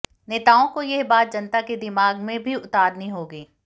नेताओं को यह बात जनता के दिमाग में भी उतारनी होगी